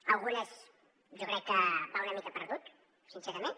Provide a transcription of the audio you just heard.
en algunes jo crec que va una mica perdut sincerament